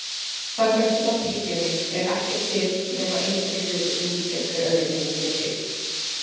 Samkvæmt nafnhyggjunni er ekkert til nema einstakir hlutir sem líkjast hver öðrum mismikið.